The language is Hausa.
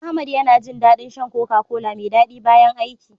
Ahmad yana jin daɗin shan "Coca-Cola" mai daɗi bayan aiki.